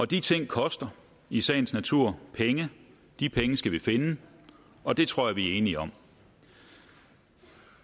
de ting koster i sagens natur penge de penge skal vi finde og det tror jeg vi er enige om